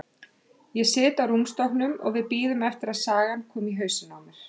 Ég sit á rúmstokknum og við bíðum eftir að sagan komi í hausinn á mér.